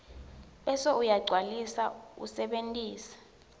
bese uyagcwalisa usebentise